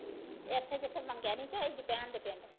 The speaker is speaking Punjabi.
ਇੱਥੇ ਜਿੱਥੇ ਮੰਗਿਆ ਨੀ ਸੀ ਹੋਇਆ